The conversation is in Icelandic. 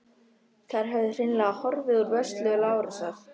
Þær höfðu hreinlega horfið úr vörslu Lárusar.